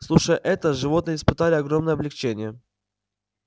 слушая это животные испытали огромное облегчение